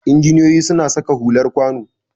Injiniyoyi suna saka hular kwano